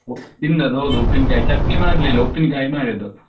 ತಿಂದದ್ದು ಹೌದು ಉಪ್ಪಿನಕಾಯಿ ಚಟ್ನಿ ಮಾಡ್ಲಿಲ್ಲ ಉಪ್ಪಿನಕಾಯಿ ಮಾಡಿದ್ದು.